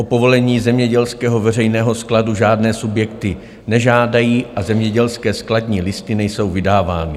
O povolení zemědělského veřejného skladu žádné subjekty nežádají a zemědělské skladní listy nejsou vydávány.